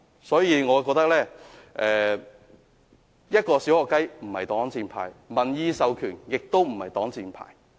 因此，我覺得一句"小學雞"並非擋箭牌，民意授權也非擋箭牌。